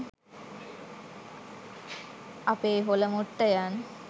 අපේ හොලමොට්ටයන්